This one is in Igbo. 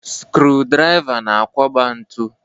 Skrụ-drịva na-akwọba ntu.